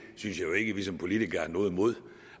jo ikke at vi som politikere har noget imod